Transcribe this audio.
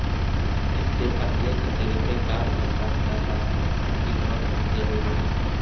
اس سے پہلے کے طریقہ کار میں بہہ جاتا ہے اسی ماسک ضروری ہے